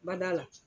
Bada la